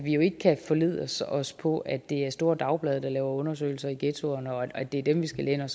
jo ikke kan forlade os os på at det er de store dagblade der laver undersøgelser i ghettoerne og at det er dem vi skal læne